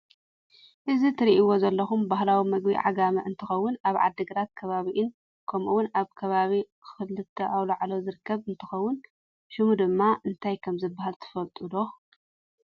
እቲ እትሪእዎ ዘለኹም ባህላዊ ምግቢ ዓጋመ እንትኸውን ኣብ ዓድግራትን ከባቢኣን ከምኡውን ኣብ ከባቢ ኽልተ ኣውላዕሎ ዝርከብ እንትኸውን ሽሙ ድማ እንታይ ከም ዝበሃል ትፈልጡ ዶ?